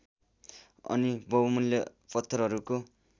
अनि बहुमूल्य पत्थरहरूको